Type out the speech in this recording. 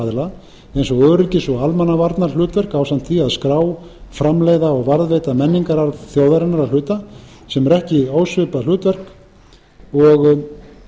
aðila eins og öryggis og almannavarnahlutverk ásamt því að skrá framleiða og varðveita menningararf þjóðarinnar að hluta sem er ekki ósvipað hlutverk og